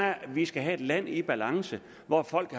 at vi skal have et land i balance hvor folk